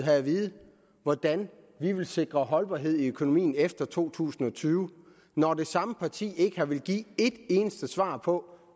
have at vide hvordan vi vil sikre holdbarhed i økonomien efter to tusind og tyve når det samme parti ikke har villet give et eneste svar på